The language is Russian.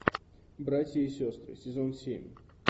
братья и сестры сезон семь